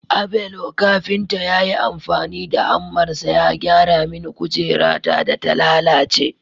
Abelo kafinta ya yi amfani da hammarsa ya gyara mini kujerata da ta lalace